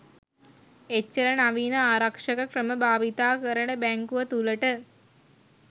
එච්චර නවීන ආරක්ෂක ක්‍රම භාවිතා කරන බැංකුව තුලට